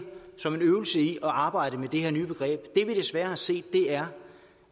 som en øvelse i at arbejde med det her nye begreb det vi desværre har set er